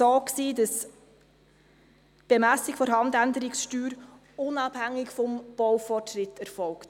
Im Jahr 1996 war es so, dass die Bemessung der Handänderungssteuer unabhängig vom Baufortschritt erfolgte.